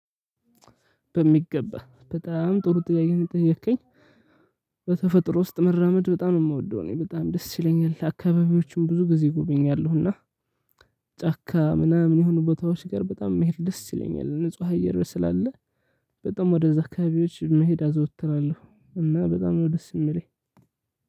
በሚገባ በጣም ጥሩ ጥያቄ ነው የጠየከኝ። በተፈጥሮ ውስጥ መራመድ በጣም ነው የምወደው። እኔ በጣም ደስ ይለኛል። አካባቢዎችን ብዙ ጊዜ እጎበኛለሁ። እና- ጫካ ምናምን የሆኑ ቦታዎች ጋር በጣም መሄድ ደስ ይለኛል። ንጹህ አየር ስላለ በጣም ወደዛ አካባቢዎች መሄድ አዘወትራለሁ። እና በጣም ነው ደስ የሚለኝ።